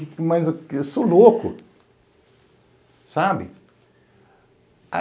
Mas eu eu sou louco, sabe?